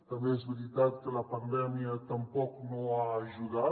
també és veritat que la pandèmia tampoc no ha ajudat